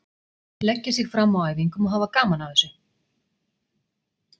Leggja sig fram á æfingum og hafa gaman að þessu.